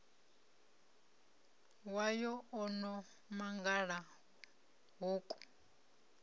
wayo o no mangala hoku